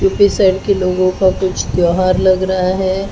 U P side के लोगों का कुछ त्यौहार लग रहा है।